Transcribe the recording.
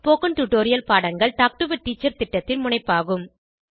spoken tutorial பாடங்கள் talk to a teacher திட்டத்தின் முனைப்பாகும்